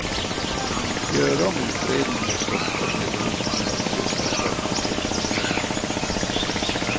Gör om utredningen och stoppa nedrustningen av kyrkans verksamhet för döva.